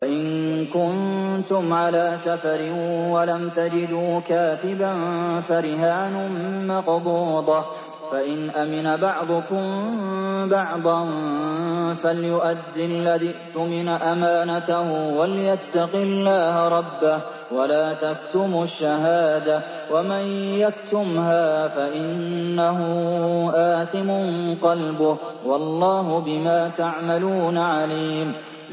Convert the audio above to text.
۞ وَإِن كُنتُمْ عَلَىٰ سَفَرٍ وَلَمْ تَجِدُوا كَاتِبًا فَرِهَانٌ مَّقْبُوضَةٌ ۖ فَإِنْ أَمِنَ بَعْضُكُم بَعْضًا فَلْيُؤَدِّ الَّذِي اؤْتُمِنَ أَمَانَتَهُ وَلْيَتَّقِ اللَّهَ رَبَّهُ ۗ وَلَا تَكْتُمُوا الشَّهَادَةَ ۚ وَمَن يَكْتُمْهَا فَإِنَّهُ آثِمٌ قَلْبُهُ ۗ وَاللَّهُ بِمَا تَعْمَلُونَ عَلِيمٌ